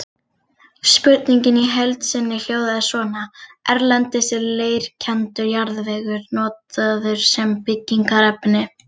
Spurningin í heild sinni hljóðaði svona: Erlendis er leirkenndur jarðvegur notaður sem byggingarefni.